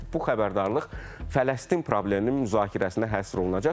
və bu xəbərdarlıq Fələstin probleminin müzakirəsinə həsr olunacaq.